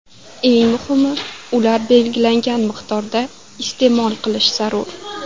Eng muhimi, ularni belgilangan miqdorda iste’mol qilish zarur.